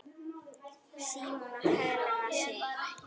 Símon og Helena Sif.